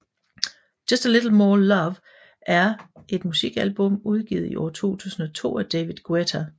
Just a Little More Love er er musikalbum udgivet i år 2002 af David Guetta